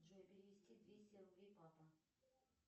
джой перевести двести рублей папа